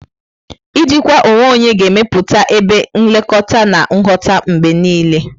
Ijikwa onwe onye ga-emepụta ebe nlekọta na nghọta mgbe niile.